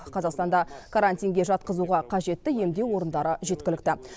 қазақстанда карантинге жатқызуға қажетті емдеу орындары жеткілікті